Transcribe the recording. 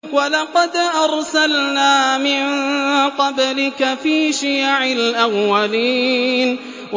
وَلَقَدْ أَرْسَلْنَا مِن قَبْلِكَ فِي شِيَعِ الْأَوَّلِينَ